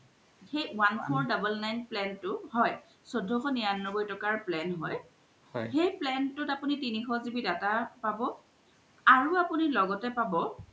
সেই one four double nine plan তু হয় চৈধ্যশ নিৰান্নবৈ তোকাৰ plan হয় সেই plan তুত আপুনি তিনিশ GBdata পাব আৰু আপুনি লগতে পাব